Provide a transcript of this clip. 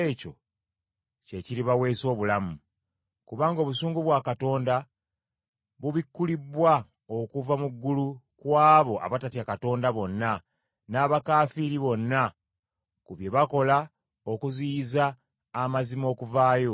Kubanga obusungu bwa Katonda bubikkulibbwa okuva mu ggulu ku abo abatatya Katonda bonna n’abakaafiiri bonna ku bye bakola okuziyiza amazima okuvaayo.